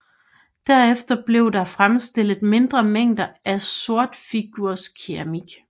Derefter blev der fremstillet mindre mængder af sortfigurskeramik